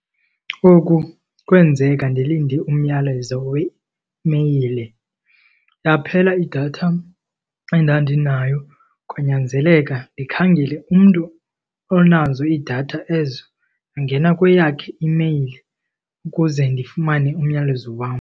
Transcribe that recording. Oku kwenzeka ndilinde umyalezo weimeyile. Yaphela idatha endandinayo kwanyanzeleka ndikhangele umntu onazo iidatha ezo. Ndangena kweyakhe imeyile ukuze ndifumane umyalezo wam.